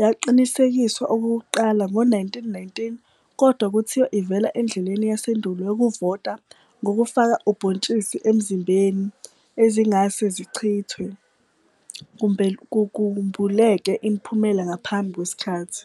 yaqinisekiswa okokuqala ngo-1919, kodwa kuthiwa ivela endleleni yasendulo yokuvota ngokufaka ubhontshi ezimbizeni, ezingase zichithwe, kumbuleke imiphumela ngaphambi kwesikhathi.